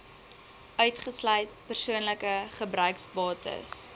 uitgesluit persoonlike gebruiksbates